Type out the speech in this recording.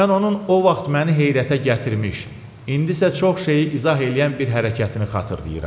Mən onun o vaxt məni heyrətə gətirmiş, indisə çox şeyi izah eləyən bir hərəkətini xatırlayıram.